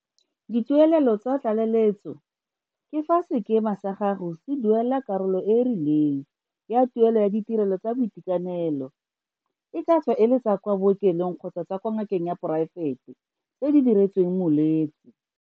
Dituelelo tsa tlaleletso ke fa sekema sa gago se duela karolo e e rileng ya tuelo ya ditirelo tsa boitekanelo e ka tswa e le tsa kwa bookelong kgotsa kwa ngakeng ya poraefete tseo di diretsweng molwetse.